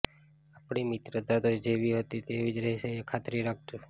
આપણી મિત્રતા તો જેવી હતી તીવી જ રહેશે એ ખાતરી રાખજો